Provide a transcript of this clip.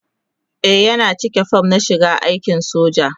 e Yana cika form na shiga aikin soja